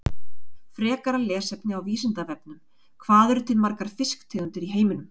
Frekara lesefni á Vísindavefnum: Hvað eru til margar fisktegundir í heiminum?